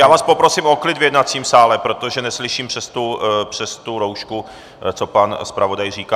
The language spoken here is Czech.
Já vás poprosím o klid v jednacím sále, protože neslyším přes tu roušku, co pan zpravodaj říká.